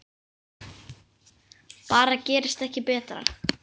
Bara gerist ekki betra!